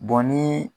ni